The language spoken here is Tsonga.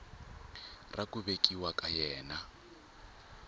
ra ku velekiwa ka yena